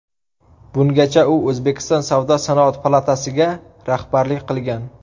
Bungacha u O‘zbekiston Savdo-sanoat palatasiga rahbarlik qilgan.